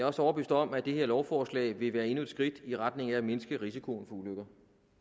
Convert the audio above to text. også overbevist om at det her lovforslag vil være endnu et skridt i retning af at mindske risikoen for ulykker